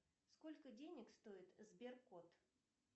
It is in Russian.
сколько денег стоит сберкот